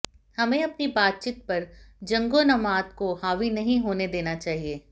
हमें अपनी बातचीत पर जंगोन्माद को हावी नहीं होने देना चाहिए